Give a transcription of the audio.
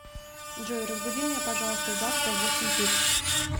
джой разбуди меня пожалуйста завтра в восемь тридцать